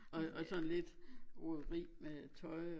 Og og sådan lidt roderi med tøj